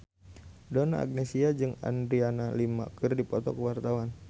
Donna Agnesia jeung Adriana Lima keur dipoto ku wartawan